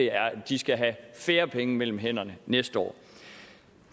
er at de skal have færre penge mellem hænderne næste år